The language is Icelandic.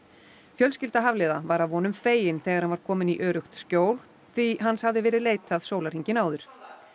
fjölskylda Hafliða var að vonum fegin þegar hann var kominn í öruggt skjól því hans hafði verið leitað sólarhringinn áður